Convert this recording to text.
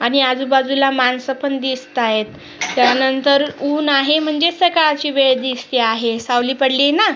आणि आजूबाजूला माणसं पण दिसत आहे त्यानंतर उन्ह आहे म्हणजे सकाळची वेळ दिसते आहे सावली पडलीये ना.